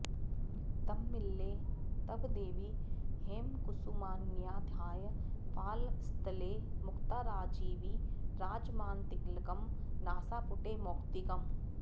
धम्मिल्ले तव देवि हेमकुसुमान्याधाय फालस्थले मुक्ताराजिविराजमानतिलकं नासापुटे मौक्तिकम्